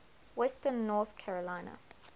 western north carolina